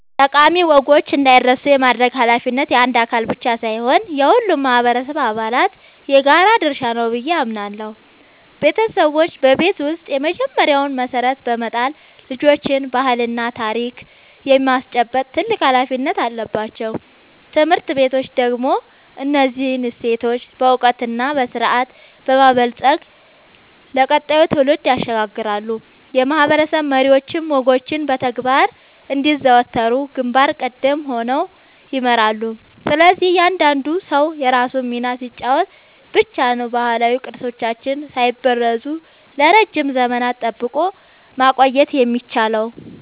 ጠቃሚ ወጎች እንዳይረሱ የማድረግ ኃላፊነት የአንድ አካል ብቻ ሳይሆን የሁሉም ማህበረሰብ አባላት የጋራ ድርሻ ነው ብዬ አምናለሁ። ቤተሰቦች በቤት ውስጥ የመጀመሪያውን መሰረት በመጣል ልጆችን ባህልና ታሪክ የማስጨበጥ ትልቅ ኃላፊነት አለባቸው። ትምህርት ቤቶች ደግሞ እነዚህን እሴቶች በዕውቀትና በስርዓት በማበልጸግ ለቀጣዩ ትውልድ ያሸጋግራሉ፤ የማህበረሰብ መሪዎችም ወጎቹ በተግባር እንዲዘወተሩ ግንባር ቀደም ሆነው ይመራሉ። ስለዚህ እያንዳንዱ ሰው የራሱን ሚና ሲጫወት ብቻ ነው ባህላዊ ቅርሶቻችንን ሳይበረዙ ለረጅም ዘመናት ጠብቆ ማቆየት የሚቻለው።